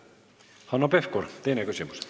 Hanno Pevkur, teine küsimus.